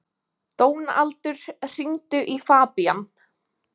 Dónaldur, hringdu í Fabían.